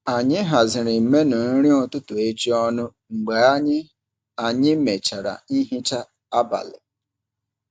Anyị haziri menu nri ụtụtụ echi ọnụ mgbe anyị anyị mechara nhicha abalị.